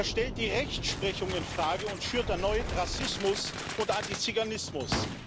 Er stellt die Rechtsprechung in Frage und schürt erneut Rassismus oder Antiziganismus.